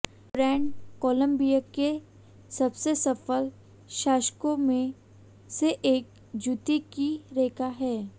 brand Columbia के सबसे सफल शासकों में से एक जूते की रेखा है